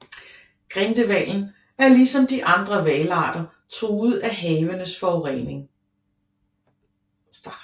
Grindehvalen er ligesom de andre hvalarter truet af havenes forurening